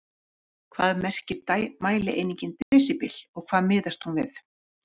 Hvað merkir mælieiningin desíbel og við hvað miðast hún?